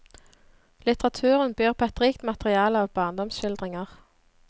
Litteraturen byr på et rikt materiale av barndomsskildringer.